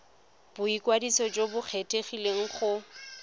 boikwadiso jo bo kgethegileng go